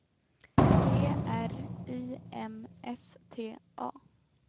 G R I M S T A